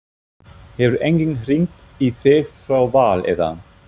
Hefur enginn hringt í þig frá Val eða?